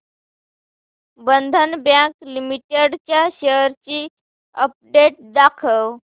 बंधन bank limited च्या shares ची update दाखव